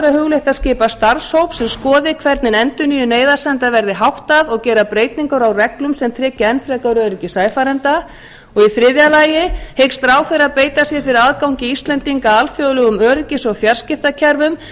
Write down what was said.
hugleitt að skipa starfshóp sem skoði hvernig endurnýjun neyðarsenda verði háttað og gera breytingar á reglum sem tryggja enn frekari öryggi sæfarenda og í þriðja lagi hyggst ráðherra beita sér fyrir aðgangi íslendinga að alþjóðlegum öryggis og fjarskiptakerfum